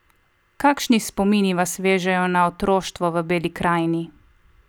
Kakšni spomini vas vežejo na otroštvo v Beli krajini?